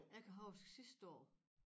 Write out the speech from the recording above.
Jeg kan huske sidste år